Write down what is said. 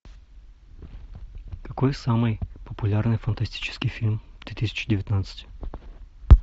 какой самый популярный фантастический фильм две тысячи девятнадцать